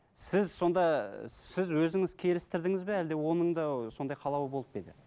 сіз сонда сіз өзіңіз келістірдіңіз бе әлде оның да сондай қалауы болып па еді